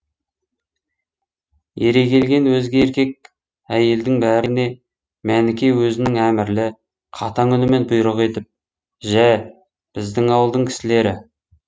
ере келген өзге еркек әйелдің бәріне мәніке өзінің әмірлі қатаң үнімен бұйрық етіп жә біздің ауылдың кісілері